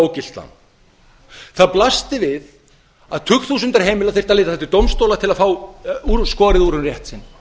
ógilt lán það blasti við að tugþúsundir heimila þyrftu að leita til dómstóla til að fá skorið úr um rétt sinn